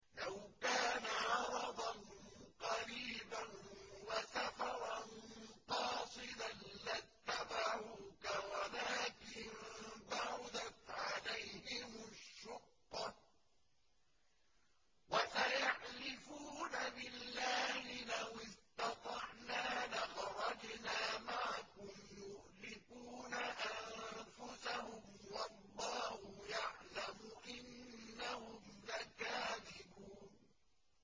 لَوْ كَانَ عَرَضًا قَرِيبًا وَسَفَرًا قَاصِدًا لَّاتَّبَعُوكَ وَلَٰكِن بَعُدَتْ عَلَيْهِمُ الشُّقَّةُ ۚ وَسَيَحْلِفُونَ بِاللَّهِ لَوِ اسْتَطَعْنَا لَخَرَجْنَا مَعَكُمْ يُهْلِكُونَ أَنفُسَهُمْ وَاللَّهُ يَعْلَمُ إِنَّهُمْ لَكَاذِبُونَ